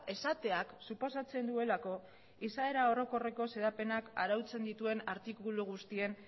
esateak suposatzen duelako izaera orokorreko xedapenak arautzen dituen artikulu guztien